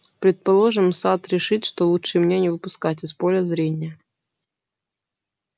предположим сатт решит что лучше меня не выпускать из поля зрения